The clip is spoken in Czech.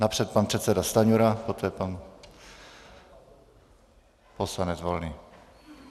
Napřed pan předseda Stanjura, poté pan poslanec Volný.